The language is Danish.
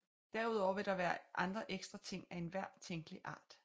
Derudover vil der være andre ekstra ting af enhver tænkelig art